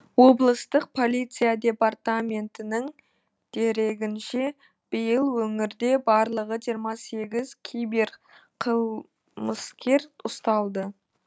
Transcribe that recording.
облыстық полиция департаментінің дерегінше биыл өңірде барлығы жиырма сегіз кибер қылмыс кер ұсталған